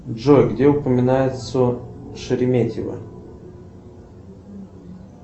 джой где упоминается шереметьево